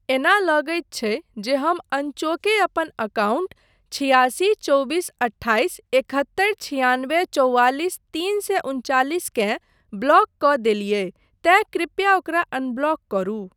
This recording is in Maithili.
एना लगैत छै जे हम अनचोके अपन अकाउंट छियासी चौबीस अठ्ठाइस एकहत्तरि छियानबे चौवालीस तीन सए उनचालीसकेँ ब्लॉक कऽ देलियै तेँ कृपया ओकरा अनब्लॉक करू।